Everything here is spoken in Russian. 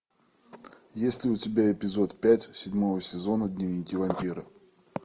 есть ли у тебя эпизод пять седьмого сезона дневники вампира